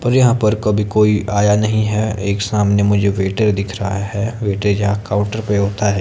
पर यहां पर कभी कोई आया नहीं है एक सामने मुझे वेटर दिख रहा है वेटर जहां काउंटर पे होता है।